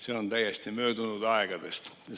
See on täiesti möödunud aegadest.